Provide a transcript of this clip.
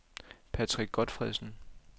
Patrick Gotfredsen